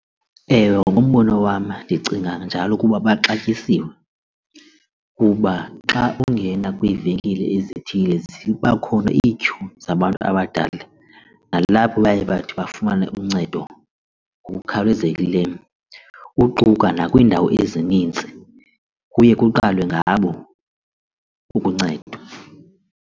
Ewe, ngumbono wam ndicinga njalo ukuba baxatyisiwe kuba xa ungena kwiivenkile ezithile ziba khona iityhu zabantu abadala, nalapho baye bathi bafumane uncedo ngokukhawulezekileyo uquka nakwiindawo ezininzi kuye kuqalwe ngabo ukuncedwa.